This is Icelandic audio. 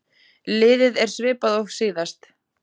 Liðið er svipað og síðast.